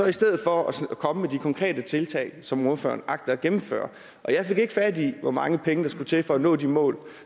i stedet for at komme med de konkrete tiltag som ordføreren agter at gennemføre og jeg fik ikke fat i hvor mange penge der skulle til for at nå de mål